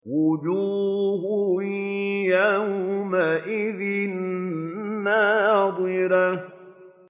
وُجُوهٌ يَوْمَئِذٍ نَّاضِرَةٌ